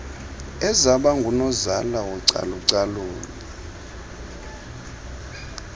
ezaba ngunozala wocalucalulo